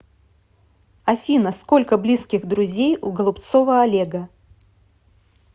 афина сколько близких друзей у голубцова олега